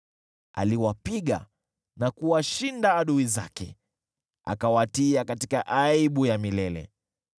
Aliwapiga na kuwashinda adui zake, akawatia katika aibu ya milele.